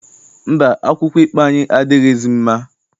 Mba, akwụkwọ ikpe anyị adịghịzi mma.